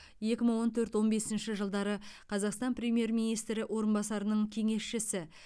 екі мың он төрт он бесінші жылдары қазақстан премьер министрі орынбасарының кеңесшісі